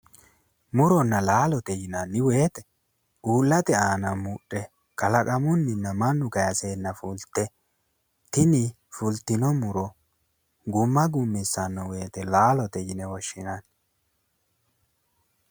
Muronna laalote yinani woyte uulate aana mudhe kalaqamunina mannu kayseena fulite tini fulitino muro Guma gumaseno woyte laalote yine woshinanni